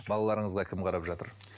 балаларыңызға кім қарап жатыр